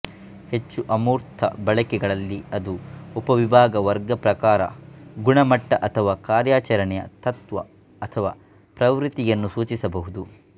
ಹೆಚ್ಚು ಅಮೂರ್ತ ಬಳಕೆಗಳಲ್ಲಿ ಅದು ಉಪವಿಭಾಗ ವರ್ಗ ಪ್ರಕಾರ ಗುಣಮಟ್ಟ ಅಥವಾ ಕಾರ್ಯಾಚರಣೆಯ ತತ್ವ ಅಥವಾ ಪ್ರವೃತ್ತಿಯನ್ನು ಸೂಚಿಸಬಹುದು